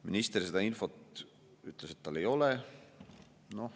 Minister ütles, et seda infot tal ei ole.